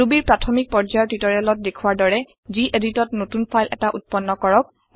Rubyৰ প্ৰাথমিক পৰ্যায়ৰ টিওটৰিয়েলত দেখুৱা দৰে geditত নতুন ফাইল এটা উত্পন্ন কৰক